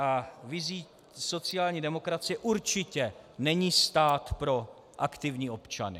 A vizí sociální demokracie určitě není stát pro aktivní občany.